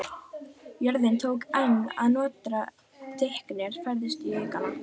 Jörðin tók enn að nötra og dynkirnir færðust í aukana.